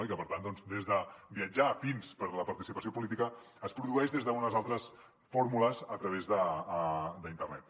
i per tant des de viatjar fins a la participació política es produeix des d’unes altres fórmules a través d’internet